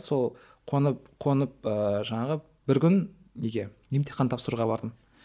сол қонып қонып ыыы жаңағы бір күн неге емтихан тапсыруға бардым